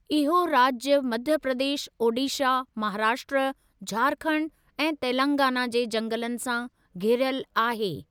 इहो राज्य मध्य प्रदेश, ओडिशा, महाराष्ट्र, झारखंड ऐं तेलंगाना जे जंगलनि सां घिरियल आहे।